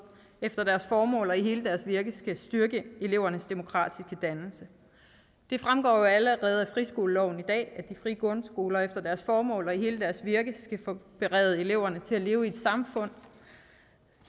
efter deres formål og i hele deres virke skal styrke elevernes demokratiske dannelse det fremgår jo allerede af friskoleloven i dag at de frie grundskoler efter deres formål og i hele deres virke skal berede eleverne til at leve i et samfund